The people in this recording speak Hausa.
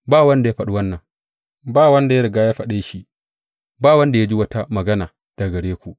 Ba wanda ya faɗa wannan, ba wanda ya riga faɗe shi, ba wanda ya ji wata magana daga gare ku.